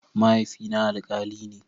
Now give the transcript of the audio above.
Mahaifina alkali ne.